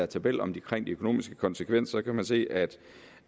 tabel om de økonomiske konsekvenser så kan man se at